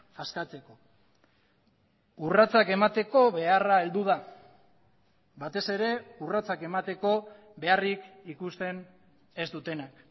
askatzeko urratsak emateko beharra heldu da batez ere urratsak emateko beharrik ikusten ez dutenak